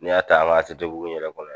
N'i y'a ta an ka ATT bugu in yɛrɛ kɔnɔ.